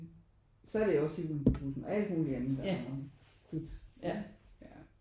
Så er det også Hjulene på bussen og alt muligt og dut ja